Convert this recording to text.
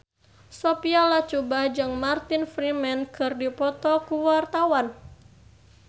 Sophia Latjuba jeung Martin Freeman keur dipoto ku wartawan